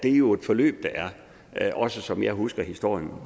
er jo et forløb også som jeg husker historien